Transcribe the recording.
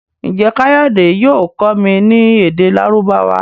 Njé kayode yóò kọ mí ní èdè Lárúbáwá?